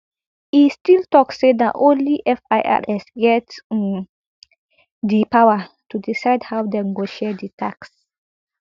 e still tok say na only firs get um di power to decide how dem go share di tax